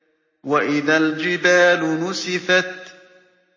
وَإِذَا الْجِبَالُ نُسِفَتْ